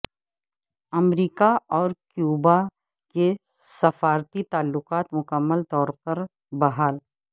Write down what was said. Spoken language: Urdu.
امریکہ اور کیوبا کے سفارتی تعلقات مکمل طور پر بحال